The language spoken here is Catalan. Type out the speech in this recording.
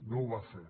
no ho va fer